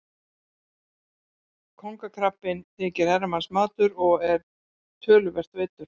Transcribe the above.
Kóngakrabbinn þykir herramannsmatur og er töluvert veiddur.